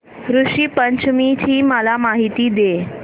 ऋषी पंचमी ची मला माहिती दे